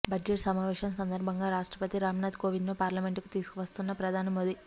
budget సమావేశం సందర్భంగా రాష్ట్రపతి రామ్నాథ్ కోవింద్ను పార్లమెంటుకు తీసుకువస్తున్న ప్రధాని మోదీ